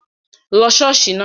Lọ ṣọ́ọ̀ṣì náà!